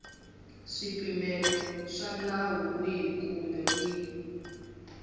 swipimelo swa nawu wihi kumbe